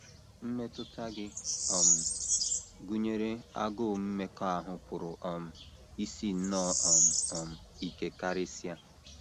Mmetụta gị um gụnyere agụụ mmekọahụ pụrụ um isi nnọọ um um ike karịsịa.